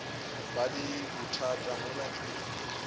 ba le bothata mola ke